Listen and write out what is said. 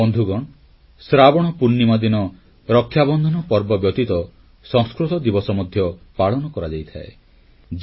ବନ୍ଧୁଗଣ ଶ୍ରାବଣ ପୂର୍ଣ୍ଣିମା ଦିନ ରକ୍ଷାବନ୍ଧନ ପର୍ବ ବ୍ୟତୀତ ସଂସ୍କୃତ ଦିବସ ମଧ୍ୟ ପାଳନ କରାଯାଇଥାଏ